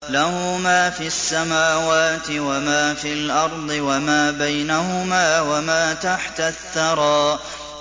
لَهُ مَا فِي السَّمَاوَاتِ وَمَا فِي الْأَرْضِ وَمَا بَيْنَهُمَا وَمَا تَحْتَ الثَّرَىٰ